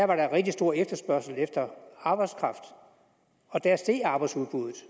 var rigtig stor efterspørgsel efter arbejdskraft og der steg arbejdsudbuddet